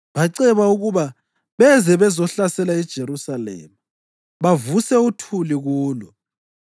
Baceba ukuba beze bazohlasela iJerusalema bavuse uthuli kulo.